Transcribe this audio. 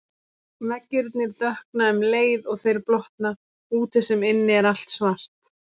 Veggirnir dökkna um leið og þeir blotna, úti sem inni er allt svart.